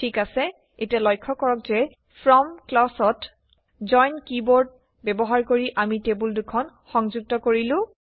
ঠিক আছে এতিয়া লক্ষ্য কৰক যে ফ্ৰম ক্লজত জইন কিৱৰ্ড ব্যৱহাৰ কৰি আমি টেবুল দুখন সংযুক্ত কৰিলো